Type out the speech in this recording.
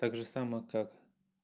так же само как